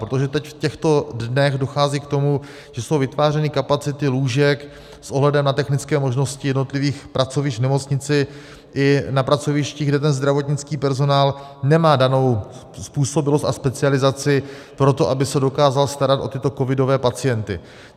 Protože teď, v těchto dnech, dochází k tomu, že jsou vytvářeny kapacity lůžek s ohledem na technické možnosti jednotlivých pracovišť v nemocnici i na pracovištích, kde ten zdravotnický personál nemá danou způsobilost a specializaci pro to, aby se dokázal starat o tyto covidové pacienty.